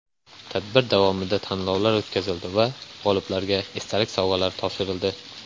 Tadbir davomida tanlovlar o‘tkazildi va g‘oliblarga esdalik sovg‘alari topshirildi.